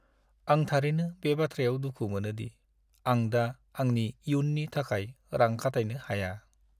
आं थारैनो बे बाथ्रायाव दुखु मोनो दि आं दा आंनि इयुननि थाखाय रां खाथायनो हाया।